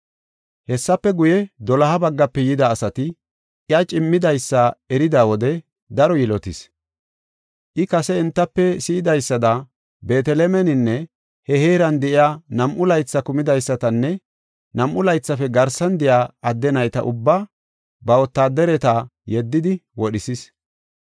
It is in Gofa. Hessafe guye, doloha baggafe yida asati iya cimmidaysa erida wode daro yilotis. I kase entafe si7idaysada Beetelemeninne he heeran de7iya nam7u laythi kumidaysatanne nam7u laythafe garsan de7iya adde nayta ubbaa ba wotaadareta yeddidi wodhisis.